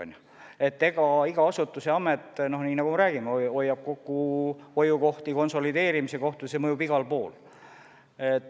Iga amet ja muu asutus, nagu me räägime, otsib kokkuhoiukohti, konsolideerimise kohti, see mõjub igal pool.